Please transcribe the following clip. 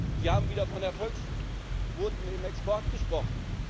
Sie haben wieder von Erfolgsquoten im Export gesprochen.